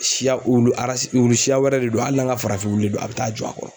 Siya wulu siya wɛrɛ de don hali n'an ka farafin wulu don a bɛ taa jɔ a kɔrɔ